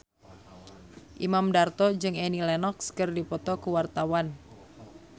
Imam Darto jeung Annie Lenox keur dipoto ku wartawan